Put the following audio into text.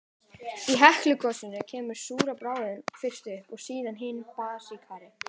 Í Heklugosum kemur súra bráðin fyrst upp, og síðan hin basískari.